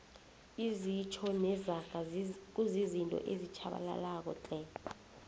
izitjho nezaga kuzizinto ezitjhabalalako tle